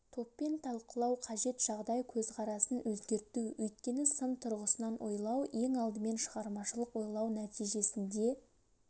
топпен талқылау қажет жағдай көзқарасын өзгерту өйткені сын тұрғысынан ойлау ең алдымен шығармашылық ойлау нәтижесінде